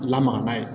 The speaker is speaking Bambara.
Lamaga n'a ye